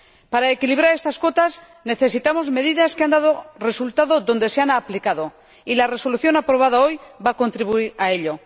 Para equilibrar estas cuotas, necesitamos medidas que han dado resultado donde se han aplicado, y la Resolución aprobada hoy va a contribuir a ello.